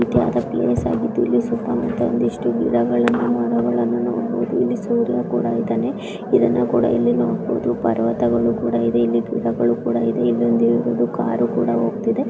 ಒಂದು ರೀತಿಯಾದ ಪ್ಲೇಸ್ ಆಗಿದ್ದು ಇಲ್ಲಿ ಸುತ್ತಮುತ್ತ ಇಲ್ಲಿ ಒಂದಿಷ್ಟು ಗಿಡಗಳನ್ನು ಮರಗಳನ್ನು ನೋಡಬಹುದು ಇಲ್ಲಿ ಸೂರ್ಯ ಕೂಡ ಇದ್ದಾನೆ ಇದನ್ನ ಕೂಡ ಇಲ್ಲಿ ನೋಡಬಹುದು ಪರ್ವತಗಳು ಕೂಡ ಇವೆ ಇಲ್ಲಿ ಗಿಡಗಳು ಕುಡ ಇದೆ ಇಲ್ಲೊಂದು ಕಾರ ಕುಡ ಹೊಗ್ತಿದೆ .